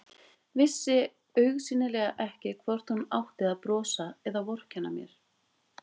Vissi augsýnilega ekki hvort hún átti að brosa eða vorkenna mér.